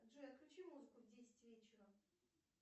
джой отключи музыку в десять вечера